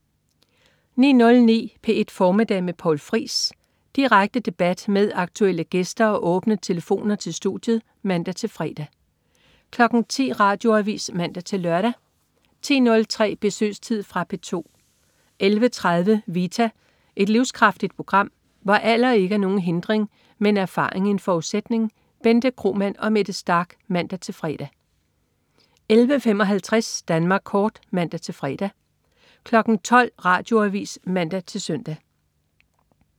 09.09 P1 Formiddag med Poul Friis. Direkte debat med aktuelle gæster og åbne telefoner til studiet (man-fre) 10.00 Radioavis (man-lør) 10.03 Besøgstid. Fra P2 11.30 Vita. Et livskraftigt program, hvor alder ikke er nogen hindring, men erfaring en forudsætning. Bente Kromann og Mette Starch (man-fre) 11.55 Danmark Kort (man-fre) 12.00 Radioavis (man-søn)